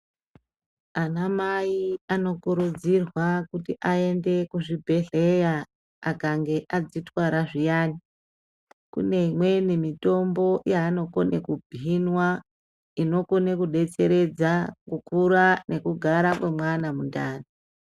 Anamai anokurudzirwa kuti aende kuzvibhedhleya akange adzitwara zviyani kune imweni mitombo yaanokone kuhinwa inokone kudetseredza kukura nekugara kwemwana mundani.